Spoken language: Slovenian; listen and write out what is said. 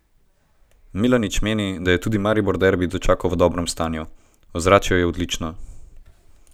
Milanič meni, da je tudi Maribor derbi dočakal v dobrem stanju: "Ozračje je odlično.